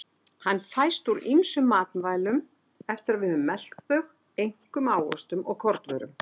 Hann fæst úr ýmsum matvælum eftir að við höfum melt þau, einkum ávöxtum og kornvörum.